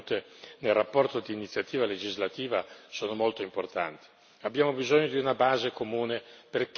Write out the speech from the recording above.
Per questa ragione le raccomandazioni che sono contenute nella relazione di iniziativa legislativa sono molto importanti.